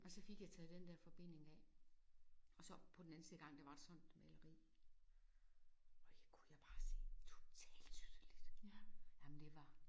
Og så fik jeg taget den der forbinding af og så på den anden side af gangen der var sådan et maleri og jeg kunne jeg bare se totalt tydeligt. Ej men det var